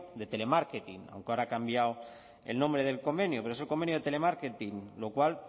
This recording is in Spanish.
de telemarketing aunque ahora ha cambiado el nombre del convenio pero es el convenio de telemarketing lo cual